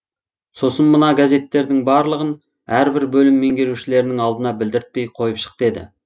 сосын мына газеттердің барлығын әрбір бөлім меңгерушілерінің алдына білдіртпей қойып шық деді